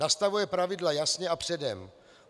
Nastavuje pravidla jasně a předem.